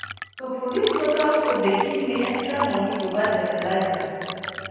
to produce local soap dey give me extra money to buy fertiliser